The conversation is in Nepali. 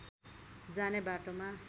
जाने बाटोमा